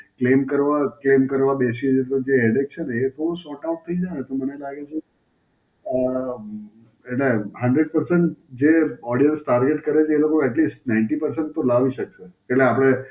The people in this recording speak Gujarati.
claim કરવા claim કરવા બેસીએ છે, તો જે headache છે ને એ થોડું Sortout થઈ જાય, તો મને લાગે છે આમ એટલે Hundred percent જે Orders target કરે છે એ લોકો Atlist ninety percent તો લાવી શકે. એટલે આપડે